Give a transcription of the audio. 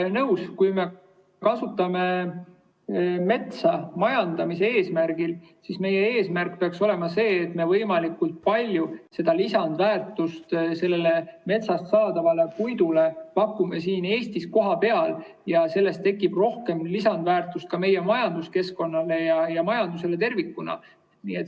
Nõus, kui me kasutame metsa majandamise eesmärgil, siis meie eesmärk peaks olema see, et me võimalikult palju lisandväärtust sellele metsast saadavale puidule pakuksime siin Eestis kohapeal ja sellest tekiks rohkem lisandväärtust meie majanduskeskkonnale ja majandusele tervikuna.